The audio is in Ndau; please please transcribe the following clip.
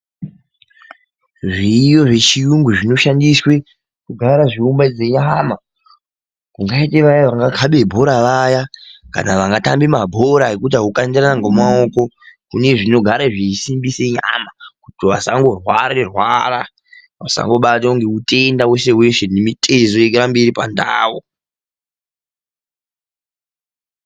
Zviriyo zvechiyungu zvinoshandiswe kugara zveiumba dzanyama, kungaite vaya vanokabe bhora vaya kana vaya vangatamba mabhora ekukandirana ngemaoko, kune zvinogara zveisimbise nyama kuti vasangorware rware vasangobatwa ngeutenda weshe weshe ngemitezo irambe iripandau.